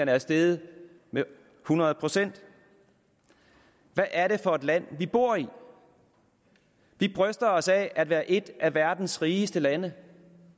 er steget med hundrede procent hvad er det for land vi bor i vi bryster os af at være et af verdens rigeste lande